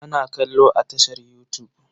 Ana kallo a tashar yutub.